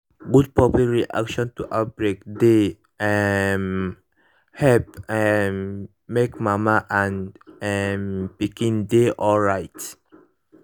good public reaction to outbreak dey um help um make mama and um pikin dey alright